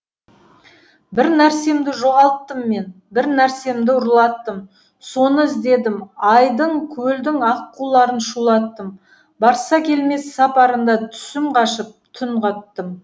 бір нәрсемді жоғалттым мен бір нәрсемді ұрлаттым соны іздедім айдын көлдің аққуларын шулаттым барса келмес сапарында түсім қашып түн қаттым